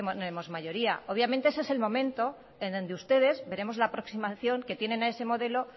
tenemos mayoría obviamente ese es el momento en donde ustedes veremos la aproximación que tienen a ese modelo